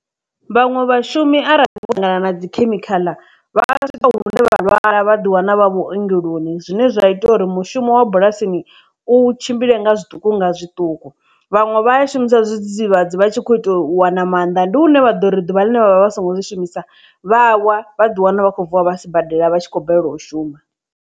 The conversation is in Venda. Vhaṅwe vhashumi arali vho ṱangana na dzikhemikhala vha a swika hune vha lwala vha ḓi wana vha vhuongeloni zwine zwa ita uri mushumo wa bulasini u tshimbile nga zwiṱuku nga zwiṱuku, vhaṅwe vha i shumisa zwidzidzivhadzi vha tshi kho ita wana maanḓa ndi hune vha ḓo uri ḓuvha ḽine vhavha vha songo zwi shumisa vha wa vha ḓi wana vha tshi khou vuwa vha si badela vhatshi kho balelwa u shuma.